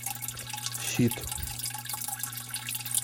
щит